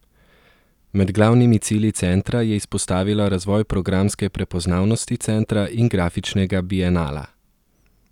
Med glavnimi cilji centra je izpostavila razvoj programske prepoznavnosti centra in grafičnega bienala.